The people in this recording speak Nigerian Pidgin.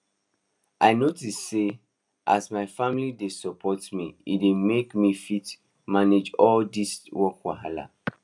i notice say as my familly dey support me e dey make me fit manage all these work wahala